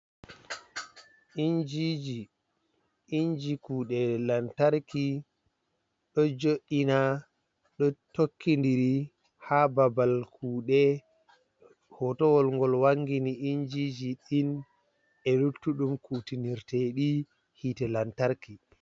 Injiinji inji kuɗe lantarki ɗo jo'eina ɗo tokkidiri ha babal kuɗe, hotowol ngol wangini injiji ɗin e luttuɗum kutinirteɗi hite lantarki.